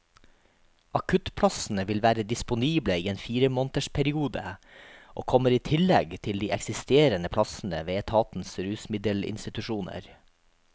Akuttplassene vil være disponible i en firemånedersperiode, og kommer i tillegg til de eksisterende plassene ved etatens rusmiddelinstitusjoner.